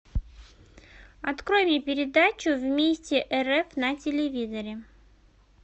открой мне передачу вместе рф на телевизоре